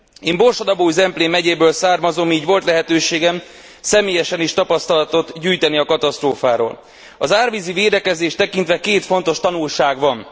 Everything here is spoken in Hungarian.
Én Borsod Abaúj Zemplén megyéből származom, így volt lehetőségem szermélyesen is tapasztalatot gyűjteni a katasztrófáról. Az árvízi védekezést tekintve két fontos tanulság van.